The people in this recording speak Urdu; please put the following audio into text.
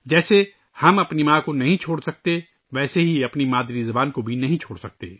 جس طرح ہم اپنی ماں کو نہیں چھوڑ سکتے ، اسی طرح ہم اپنی مادری زبان کو بھی نہیں چھوڑ سکتے